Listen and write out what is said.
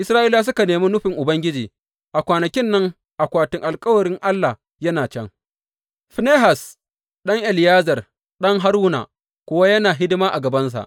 Isra’ilawa suka nemi nufin Ubangiji A kwanakin nan akwatin alkawarin Allah yana can, Finehas ɗan Eleyazar, ɗan Haruna, kuwa yana hidima a gabansa.